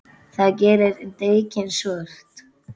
Það gerir dekkin svört.